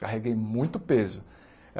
Carreguei muito peso.